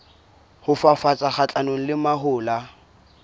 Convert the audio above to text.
ho fafatsa kgahlanong le mahola